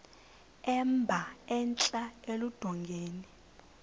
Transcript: emba entla eludongeni